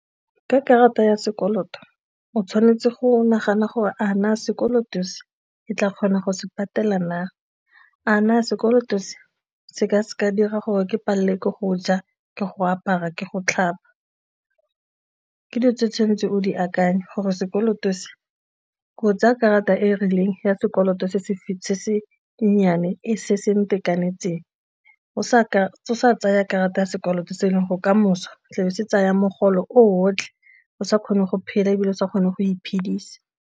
Ka karata ya sekoloto, o tshwanetse go nagana gore a na sekoloto se ke tla kgona go se patela na, a na sekoloto se se ka se ka dira gore ke palelelwe ke go ja ke go apara ke go tlhapa. Ke dilo tse tshwanetseng o di akanye gore sekoloto se o tsaya karata e e rileng ya sekoloto se se se nnyane ntekanetseng o sa sa tsaya karata ya sekoloto se e leng go ka moso o tlabo se tsaya mogolo otlhe o sa kgone go phela ebile o sa kgone go iphedisa.